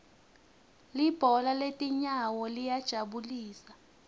libhola letinyawo liyajabulisa